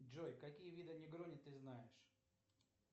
джой какие виды негрони ты знаешь